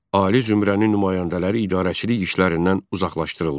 Ali zümrənin nümayəndələri idarəçilik işlərindən uzaqlaşdırıldı.